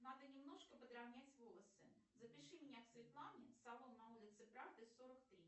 надо немножко подравнять волосы запиши меня к светлане салон на улице правды сорок три